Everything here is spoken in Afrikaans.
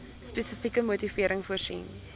spesifieke motivering voorsien